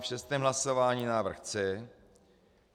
V šestém hlasování návrh C.